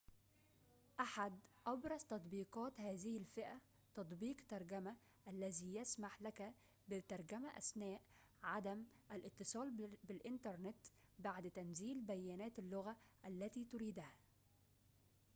أحد أبرز تطبيقات هذه الفئة تطبيق ترجمة google الذي يسمح لك بالترجمة أثناء عدم الاتصال بالإنترنت بعد تنزيل بيانات اللغة التي تريدها